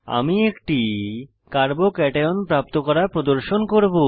আমি একটি carbocation প্রাপ্ত করা প্রদর্শন করব